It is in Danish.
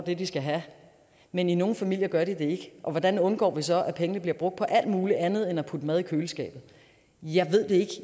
det de skal have men i nogle familier gør de det ikke og hvordan undgår vi så at pengene bliver brugt på alt muligt andet end at putte mad i køleskabet jeg ved det ikke